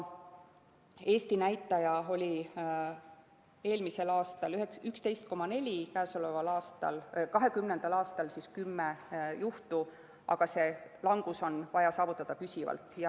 Eesti näitaja oli 11,4, eelmisel, 2020. aastal 10 juhtu, aga see langus on vaja saavutada püsivalt.